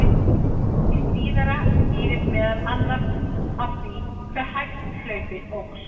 Hið síðara skýrist meðal annars af því hve hægt hlaupið óx.